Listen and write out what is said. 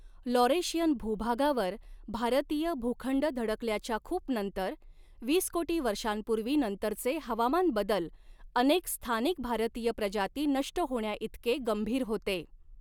Laurentian भूभागावर भारतीय भूखंड धडकल्याच्या खूप नंतर, वीस कोटी वर्षांपूर्वी नंतरचे हवामान बदल अनेक स्थानिक भारतीय प्रजाती नष्ट होण्याइतके गंभीर होते.